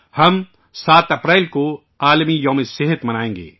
ہم 7 اپریل کو ' صحت کا عالمی دن ' منائیں گے